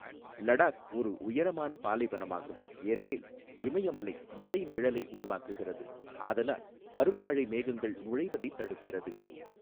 லடாக் ஒரு உயரமான பாலைவனமாகும், ஏனெனில் இமயமலை மழை நிழலை உருவாக்குகிறது, ஆதலால் பருவமழை மேகங்கள் நுழைவதை தடுக்கிறது.